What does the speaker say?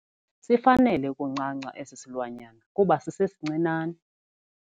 Sifanele ukuncanca esi silwanyana kuba sisesincinane.